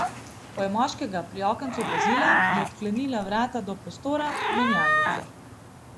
Ko je moškega pri okencu opazila, je odklenila vrata do prostora menjalnice.